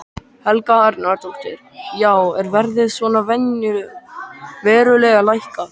Helga Arnardóttir: Já er verðið svona verulega lækkað?